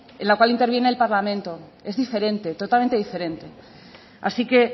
en la cual interviene el parlamento es diferente totalmente diferente así que